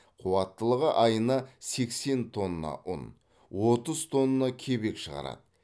қуаттылығы айына сексен тонна ұн отыз тонна кебек шығарады